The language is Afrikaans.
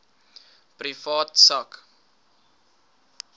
privaat sak